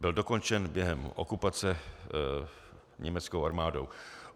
Byl dokončen během okupace německou armádou.